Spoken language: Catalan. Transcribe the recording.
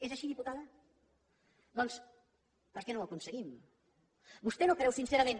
és així diputada què no ho aconseguim vostès no creu sincerament